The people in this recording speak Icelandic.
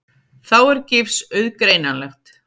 Þá er gifs auðgreinanlegt.